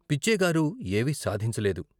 పిచ్చయ్యగారు ఏవీ సాధించలేదు.